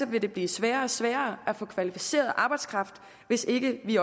vil det blive sværere og sværere at få kvalificeret arbejdskraft hvis ikke vi